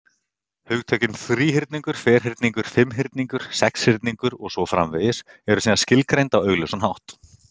Hugtökin þríhyrningur, ferhyrningur, fimmhyrningur, sexhyrningur, og svo framvegis, eru síðan skilgreind á augljósan hátt.